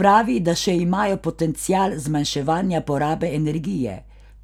Pravi, da še imajo potencial zmanjševanja porabe energije,